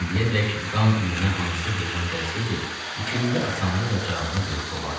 İndiyədək qan iyi hansı heyvan gəlsəydi, işçilikdə asanlıqla cavabını verib qovardılar.